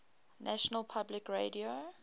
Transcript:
national public radio